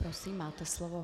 Prosím, máte slovo.